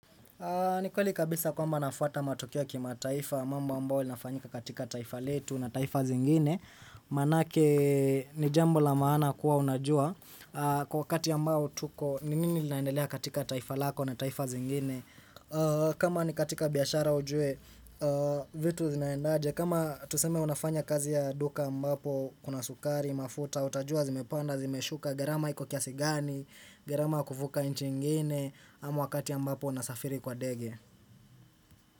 Ni kweli kabisa kwamba nafuata matukio ya kimataifa mamba ambao linafanyika katika taifa letu na taifa zingine. Manake ni jambo la maana kuwa unajua kwa wakati ya mbao tuko ni nini ilinaendelea katika taifa lako na taifa zingine. Kama ni katika biashara ujue vitu zinaendaje. Kama tuseme unafanya kazi ya duka ambapo kuna sukari, mafuta, utajua, zimepanda, zimeshuka, gharama hiko kiasigani, gharama ya kuvuka nchi ingine. Ama wakati ambapo nasafiri kwa ndege.